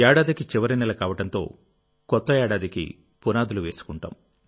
ఏడాదికి చివరి నెల కావడంతో కొత్త ఏడాదికి పునాదులు వేసుకుంటాం